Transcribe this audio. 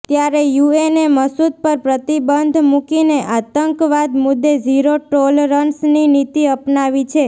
ત્યારે યુએને મસૂદ પર પ્રતિબંધ મુકીને આતંકવાદ મુદે ઝીરો ટોલરન્સની નીતિ અપનાવી છે